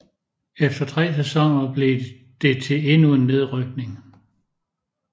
Efter tre sæsoner blev det til endnu en nedrykning